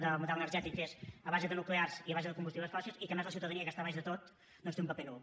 de model energètic que és a base de nuclears i a base de combustibles fòssils i en què a més la ciutadania que està a baix de tot té un paper nul